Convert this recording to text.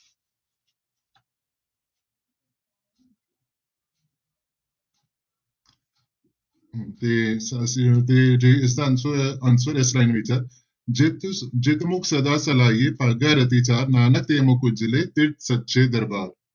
ਤੇ ਅਸੀਂ ਤੇ ਜੀ ਇਸਦਾ answer answer ਇਸ ਤਰ੍ਹਾਂ ਹੀ ਹੋਏਗਾ ਜਿਤੁ ਜਿਤੁ ਮੁਖ ਸਦਾ ਸਲਾਹੀਐ ਭਾਗਾ ਰਤੀ ਚਾਰ, ਨਾਨਕ ਤੇ ਮੁਖ ਉਜਲੇ ਤਿਤੁ ਸੱਚੇ ਦਰਬਾਰ।